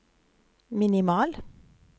minimal